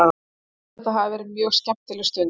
Ég held að þetta hafi verið mjög skemmtileg stund.